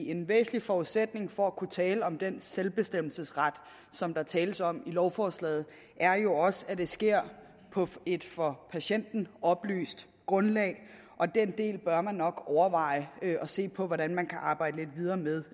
en væsentlig forudsætning for at kunne tale om den selvbestemmelsesret som der tales om i lovforslaget er jo også at det sker på et for patienten oplyst grundlag og den del bør man nok overveje at se på hvordan man kan arbejde lidt videre med